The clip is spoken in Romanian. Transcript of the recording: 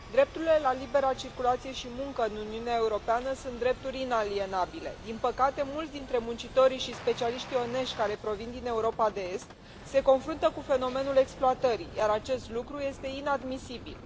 Doamnă președintă, drepturile la libera circulație și muncă în Uniunea Europeană sunt drepturi inalienabile. Din păcate, mulți dintre muncitorii și specialiștii onești care provin din Europa de Est se confruntă cu fenomenul exploatării, iar acest lucru este inadmisibil.